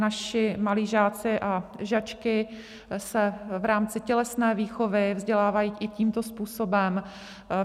Naši malí žáci a žačky se v rámci tělesné výchovy vzdělávají i tímto způsobem.